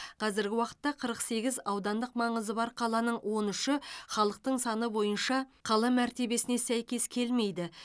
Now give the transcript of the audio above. қазіргі уақытта қырық сегіз аудандық маңызы бар қаланың он үші халықтың саны бойынша қала мәртебесіне сәйкес келмейді